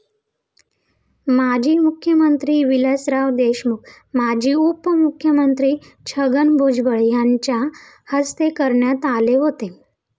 माजी मुख्यमंत्री विलासराव देशमुख, माजी उपमुख्यमंत्री छगन भुजबळ यांच्या हस्ते करण्यात आले होते.